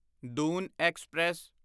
Doon express